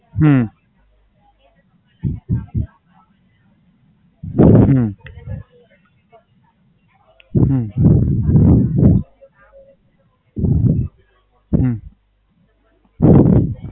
હમ હમ હમ